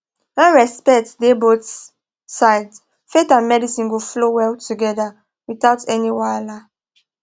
when respect dey both sides faith and medicine dey flow well together without any wahala